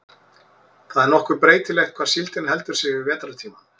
það er nokkuð breytilegt hvar síldin heldur sig yfir vetrartímann